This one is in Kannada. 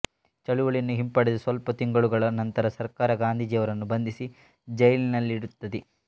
ಚಳುವಳಿಯನ್ನು ಹಿಂಪಡೆದ ಸ್ವಲ್ಪ ತಿಂಗಳುಗಳ ನಂತರ ಸರ್ಕಾರ ಗಾಂಧೀಜಿಯವರನ್ನು ಬಂಧಿಸಿ ಜೈಲಿನಲ್ಲಿಡುತ್ತದೆ